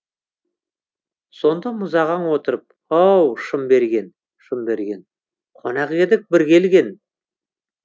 сонда мұзағаң отырып ау шымберген шымберген қонақ едік бір келген